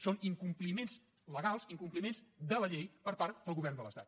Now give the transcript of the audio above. són incompliments legals incompliments de la llei per part del govern de l’estat